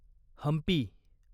Hampi